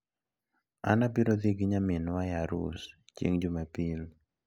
An abiro dhi gi nyaminwa e arus chieng` jumapil.